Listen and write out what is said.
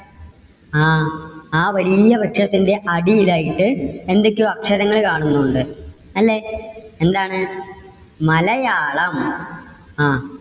ആഹ് ആ വലിയ വൃക്ഷത്തിന്റെ അടിയിലായിട്ട് എന്തൊക്കെയോ അക്ഷരങ്ങള് കാണുന്നുണ്ട്. അല്ലേ? എന്താണ് മലയാളം. അഹ്